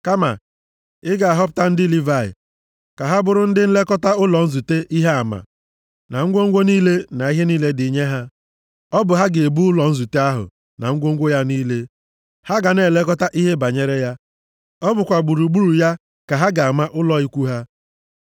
Kama, ị ga-ahọpụta ndị Livayị ka ha bụrụ ndị nlekọta ụlọ nzute Ihe Ama, na ngwongwo niile, na ihe niile dị nye ya. Ọ bụ ha ga-ebu ụlọ nzute ahụ na ngwongwo ya niile: ha ga na-elekọta ihe banyere ya, ọ bụkwa gburugburu ya ka ha ga-ama ụlọ ikwu ha.